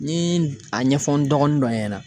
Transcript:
N ye a ɲɛfɔ n dɔgɔnin dɔ ɲɛna